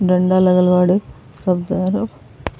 डंडा लगल बाड़े। सब तैयार हो।